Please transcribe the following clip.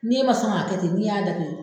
Ni e ma sɔn k'a kɛ ten n'i y'a datug